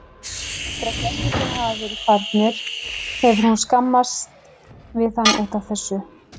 Eftir að gestirnir hafa verið farnir hefur hún skammast við hann út af þessu.